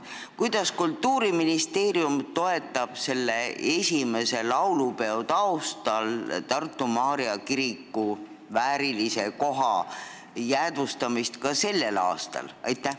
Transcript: Kuidas Kultuuriministeerium toetab esimese laulupeo aastapäeva taustal Tartu Maarja kiriku väärilise koha jäädvustamist ka tänavu?